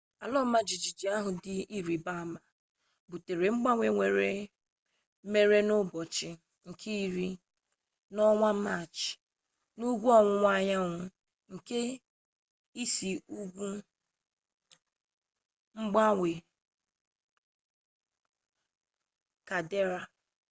ala ọma jijiji ahụ dị ịrịba ama butere mgbanwe mere n'ụbọchị nke iri n'ọnwa maachị n'ugwu ọwụwa anyanwụ nke isi ugwu mgbawa kaldera